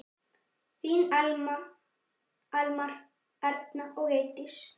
Þín Elmar, Erna og Eydís.